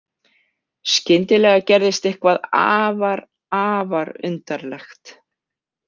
Skyndilega gerðist eitthvað afar, afar undarlegt.